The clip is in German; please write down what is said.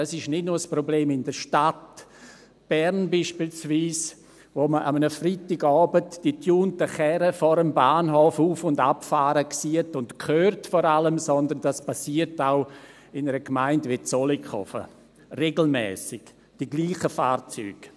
Das ist nicht nur ein Problem in der Stadt Bern beispielsweise, in der man an einem Freitagabend die getunten Karren vor dem Bahnhof auf- und abfahren sieht und vor allem hört, sondern das passiert auch in einer Gemeinde wie Zollkofen – regelmässig, dieselben Fahrzeuge.